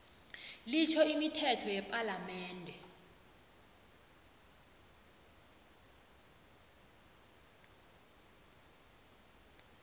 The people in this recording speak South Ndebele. litjho imithetho yepalamende